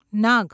નાગ